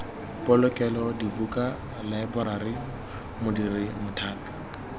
polokelo dibuka laeborari modiri mothapi